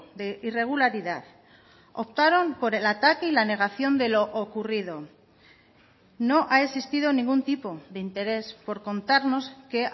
de irregularidad optaron por el ataque y la negación de lo ocurrido no ha existido ningún tipo de interés por contarnos qué